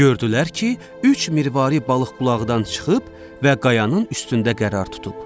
Gördülər ki, üç mirvari balıq qulağından çıxıb və qayanın üstündə qərar tutub.